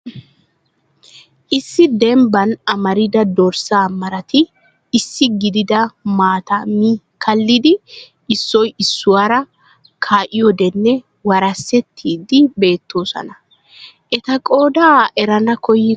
Issi dembban amarida dorssa marati issi gididi maata mi kallidi issoy issuwaara kaa'odinne warsettidi beettoosona. Eta qooda erana koyyiko waatanee?